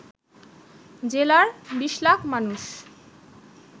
জেলার ২০ লাখ মানুষ